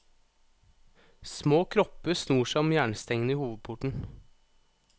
Små kropper snor seg om jernstengene i hovedporten.